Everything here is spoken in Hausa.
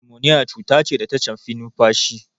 Nimoniya cuta ce da ta shafi numfashi.